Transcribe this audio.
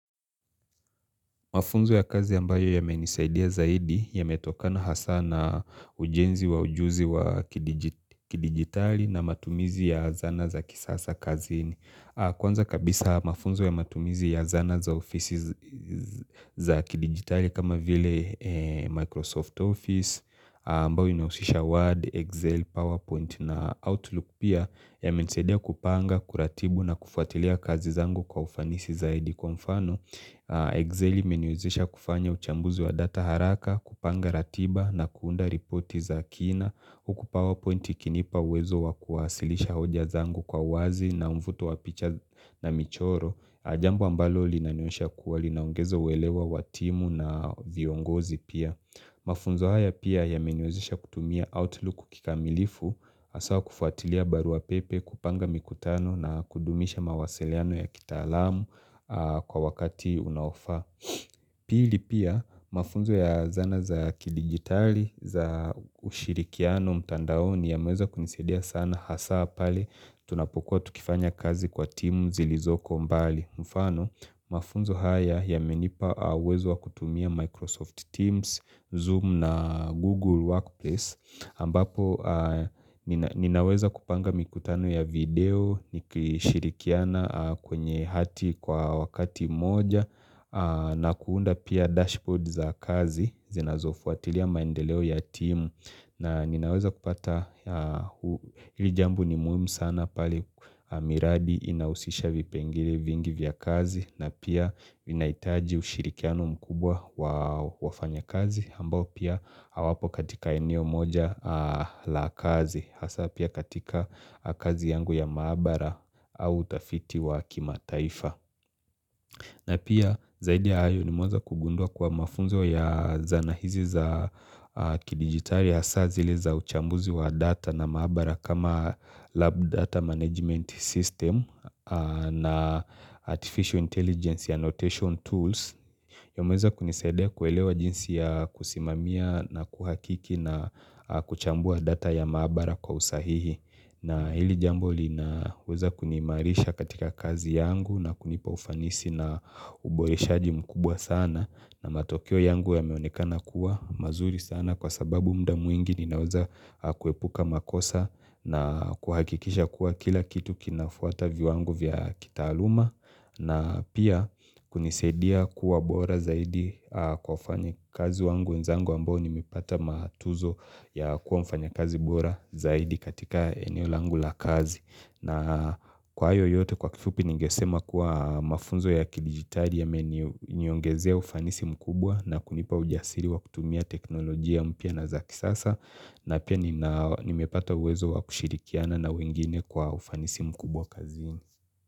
Mafunzo ya kazi ambayo yamenisaidia zaidi yametokana hasa na ujenzi wa ujuzi wa kidigitali na matumizi ya zana za kisasa kazini. Kwanza kabisa mafunzo ya matumizi ya zana za ofisi za kidigitali kama vile Microsoft Office ambayo inahusisha Word, Excel, PowerPoint na Outlook pia yamenisaidia kupanga, kuratibu na kufuatilia kazi zangu kwa ufanisi zaidi kwa mfano. Excel imeniwezesha kufanya uchambuzi wa data haraka, kupanga ratiba na kuunda ripoti za kina Huku powerpoint ikinipa uwezo wa kuwasilisha hoja zangu kwa wazi na umvuto wa picha na michoro jambo ambalo linanionyesha kuwa linaongeza uelewa wa timu na viongozi pia Mafunzo haya pia yameniwezesha kutumia outlook kikamilifu haswa kufuatilia barua pepe kupanga mikutano na kudumisha mawasiliano ya kitaalamu kwa wakati unaofaa. Pili pia mafunzo ya zana za kidigitali za ushirikiano mtandaoni yameweza kunisaidia sana hasaa pale tunapokuwa tukifanya kazi kwa timu zilizoko mbali. Mfano mafunzo haya yamenipa uwezo wa kutumia Microsoft Teams, Zoom na Google Workplace ambapo ninaweza kupanga mikutano ya video, nikishirikiana kwenye hati kwa wakati moja na kuunda pia dashboard za kazi zinazofuatilia maendeleo ya timu na ninaweza kupata hili jambo ni muhimu sana pale miradi inahusisha vipengele vingi vya kazi na pia inaitaji ushirikiano mkubwa wa wafanya kazi ambao pia hawapo katika eneo moja la kazi hasa pia katika kazi yangu ya maabara au utafiti wa kimataifa na pia zaidi ya hayo ni moza kugundua kwa mafunzo ya zana hizi za kidigitali hasa zile za uchambuzi wa data na maabara kama lab data management system na artificial intelligence annotation tools. Yameweza kunisaidia kuelewa jinsi ya kusimamia na kuhakiki na kuchambua data ya maabara kwa usahihi na hili jambo linaweza kunimaarisha katika kazi yangu na kunipa ufanisi na uboreshaji mkubwa sana na matokeo yangu yameonekana kuwa mazuri sana kwa sababu muda mwingi ninaweza kuepuka makosa na kuhakikisha kuwa kila kitu kinafuata viwango vya kitaaluma na pia kunisaidia kuwa bora zaidi kwa wafanyikazi wangu, wenzangu ambao ni mipata matuzo ya kuwa mfanyakazi bora zaidi katika eneo langu la kazi. Na kwa hayo yote kwa kifupi ningesema kuwa mafunzo ya kidigitali yameni niongezea ufanisi mkubwa na kunipa ujasiri wa kutumia teknolojia mpya na za kisasa na pia nimepata uwezo wa kushirikiana na wengine kwa ufanisi mkubwa kazi.